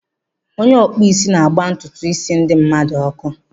Onye ọkpụisi na-agba ntutu isi ndi mmadu ọkụ.